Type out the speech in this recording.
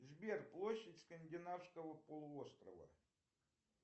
сбер площадь скандинавского полуострова